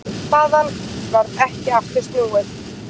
Þaðan varð ekki aftur snúið.